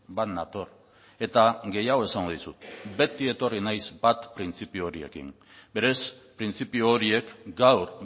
bat nator eta gehiago esango dizut beti etorri naiz bat printzipio horiekin berez printzipio horiek gaur